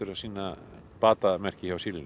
að sýna batamerki hjá